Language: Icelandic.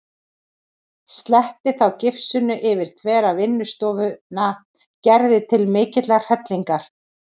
Sletti þá gifsinu yfir þvera vinnustofuna Gerði til mikillar hrellingar.